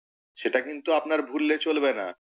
সেটা কিন্তু আপনার ভুললে চলবে না।